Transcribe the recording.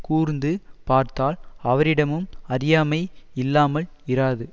கூர்ந்து பார்த்தால் அவரிடமும் அறியாமை இல்லாமல் இராது